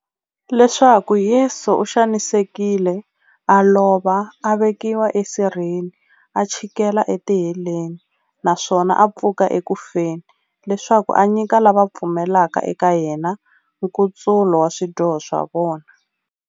Leswaku Yesu u xanisekile, a lova, a vekiwa esirheni, a chikela etiheleni, naswona a pfuka eku feni, leswaku a nyika lava va pfumelaka eka yena, nkutsulo wa swidyoho swa vona.